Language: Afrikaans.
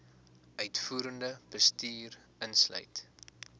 uitvoerende bestuur insluit